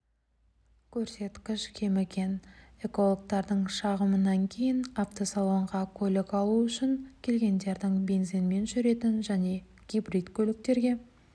көрсеткіш кеміген экологтардың шағымынан кейін автосалонға көлік алу үшін келгендердің бензинмен жүретін және гибрид көліктерге